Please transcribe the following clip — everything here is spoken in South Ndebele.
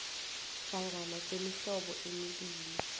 hlangana kwemihlobo emibili